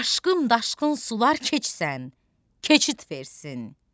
Aşqım, daşqın sular keçsən, keçid versin.